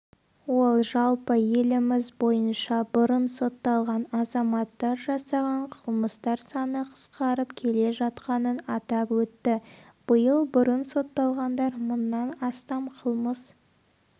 ол жалпы еліміз бойынша бұрын сотталған азаматтар жасаған қылмыстар саны қысқарып келе жатқанын атап өтті биыл бұрын сотталғандар мыңнан астам қылмыс